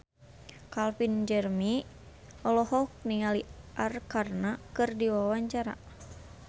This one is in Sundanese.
Calvin Jeremy olohok ningali Arkarna keur diwawancara